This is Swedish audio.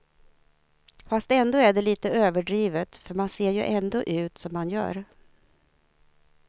Fast ändå är det litet överdrivet, för man ser ju ändå ut som man gör.